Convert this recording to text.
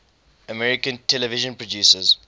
american television producers